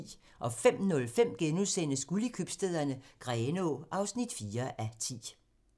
05:05: Guld i købstæderne - Grenaa (4:10)*